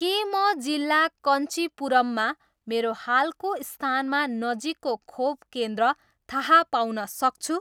के म जिल्ला कञ्चिपुरममा मेरो हालको स्थानमा नजिकको खोप केन्द्र थाहा पाउन सक्छु